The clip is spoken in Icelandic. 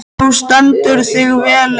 Þú stendur þig vel, Leif!